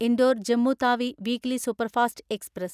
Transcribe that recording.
Indore Jammu Tawi weekly superfast express